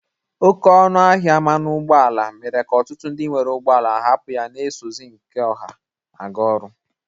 Oke ọnụ ahịa mmanụ ụgbọ ala mere ka ọtụtụ ndị nwere ụgbọ ala hapụ ya na-esozi nke ọha aga ọrụ.